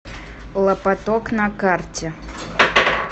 лапоток на карте